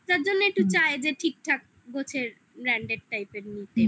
তার জন্য একটু চাই যে ঠিকঠাক গোছের branded type branded